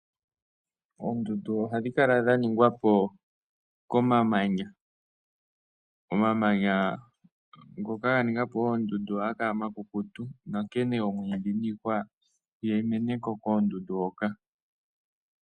Oondundu ohadhi kala dha ningwa po komamanya. Omamanya ngoka ga ninga po oondundu ohaga kala omakukutu nonkene oomwiidhi niihwa ihadhi mene ko koondundu hoka.